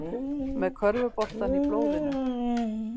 Með körfuboltann í blóðinu